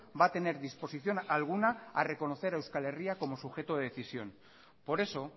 va a tener disposición alguna a reconocer a euskal herria como sujeto de decisión por eso